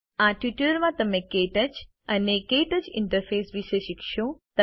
આ ટ્યુટોરીયલ માં તમે ક્ટચ અને ક્ટચ ઇન્ટરફેસ વિશે શીખશો